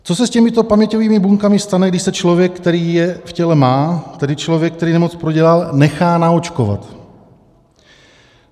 Co se s těmito paměťovými buňkami stane, když se člověk, který je v těle má, tedy člověk, který nemoc prodělal, nechá naočkovat?